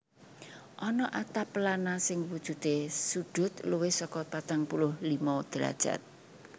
Ana atap pelana sing wujudé sudut luwih saka patang puluh limo derajat